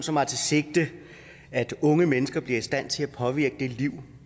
som har til sigte at unge mennesker bliver i stand til at påvirke det liv